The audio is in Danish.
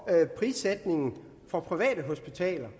prissætningen for private hospitaler